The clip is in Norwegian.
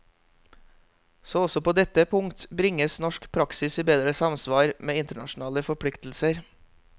Så også på dette punkt bringes norsk praksis i bedre samsvar med internasjonale forpliktelser.